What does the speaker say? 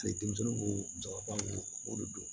denmisɛnninw ko jabarondo don